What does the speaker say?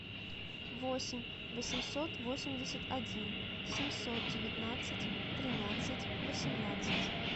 восемь восемьсот восемьдесят один семьсот девятнадцать тринадцать восемнадцать